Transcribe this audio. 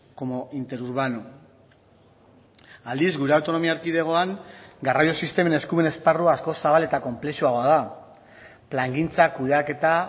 como interurbano aldiz gure autonomia erkidegoan garraio sistemen eskumen esparrua askoz zabal eta konplexuagoa da plangintza kudeaketa